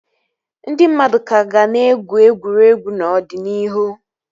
Ndị mmadụ ka ga na-egwu egwuregwu n'ọdịnihu